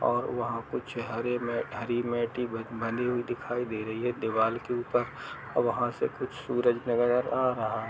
और वहाँ कुछ हरे मे हरी मेटी बनी हुई दिखाई दे रही है दीवाल के ऊपर और वहाँ से कुछ सूरज नज़र आ रहा है।